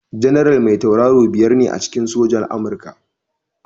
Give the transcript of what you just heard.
Janaral mai tauraro biyar ne a cikin soja a Amurka.